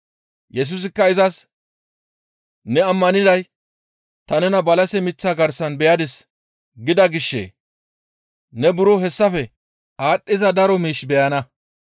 Yesusikka izas, «Ne ammaniday, ‹Ta nena balase miththa garsan beyadis› gida gishshee? Ne buro hessafe aadhdhiza daro miish beyana.